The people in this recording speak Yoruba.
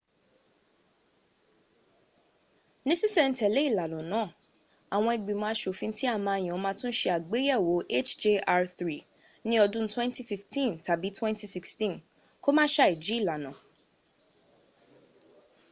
ní sísèntèlé ìlànà náà àwọn ìgbìmò asòfin ti a máà yan máà tún sẹ àgbéyèwò hjr-3 ní odún 2015 tàbí 2016 kó ma sàíj´ ìlànà